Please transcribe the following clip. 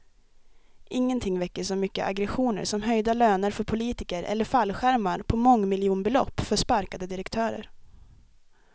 Ingenting väcker så mycket aggressioner som höjda löner för politiker eller fallskärmar på mångmiljonbelopp för sparkade direktörer.